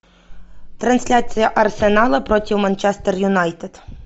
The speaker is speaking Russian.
трансляция арсенала против манчестер юнайтед